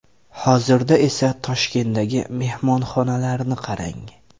Hozirda esa Toshkentdagi mehmonxonalarni qarang!